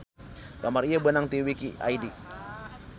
Gambar ieu beunang ti wiki id.